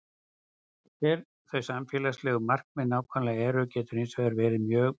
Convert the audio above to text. Hver þau samfélagslegu markmið nákvæmlega eru getur hins vegar verið mjög mismunandi.